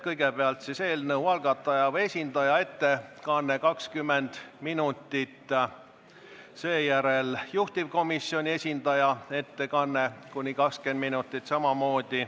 Kõigepealt on eelnõu algataja esindaja ettekanne 20 minutit, seejärel juhtivkomisjoni esindaja ettekanne, samamoodi kuni 20 minutit.